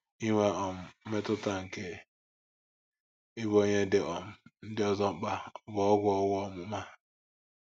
Inwe um mmetụta nke ịbụ onye dị um ndị ọzọ mkpa bụ ọgwụ owu ọmụma.